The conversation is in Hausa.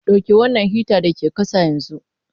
Dauki wannan hitan da ke ƙasa yanzu!